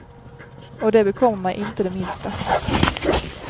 Och det bekommer mig inte det minsta.